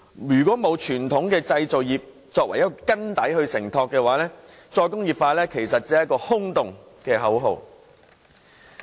如果沒有傳統製造業作為承托的根基，"再工業化"只是一句空洞的口號。